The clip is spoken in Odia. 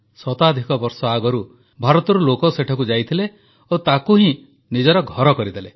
ଶତାଧିକ ବର୍ଷ ଆଗରୁ ଭାରତରୁ ଲୋକ ସେଠାକୁ ଯାଇଥିଲେ ଓ ତାକୁ ହିଁ ନିଜର ଘର କରିଦେଲେ